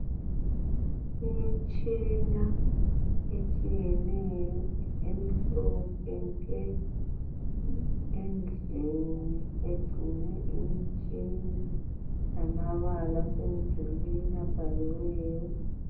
Imtshina etshiyeneyo emhlophe nke endlini egcine imitshina lamabalasemdulwini abhaliweyo.